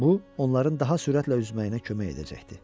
Bu, onların daha sürətlə üzməyinə kömək edəcəkdi.